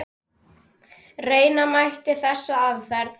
Reyna mætti þessa aðferð.